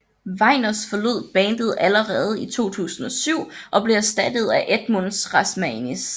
Vegners forlod bandet allerede i 2007 og blev erstattet af Edmunds Rasmanis